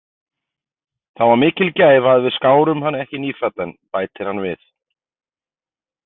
Það var mikil gæfa að við skárum hann ekki nýfæddan, bætir hann við.